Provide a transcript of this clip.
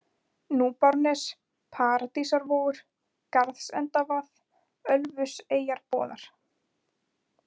Núpárnes, Paradísarvogur, Garðsendavað, Ölfuseyjarboðar